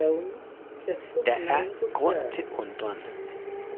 Der er grund til undren.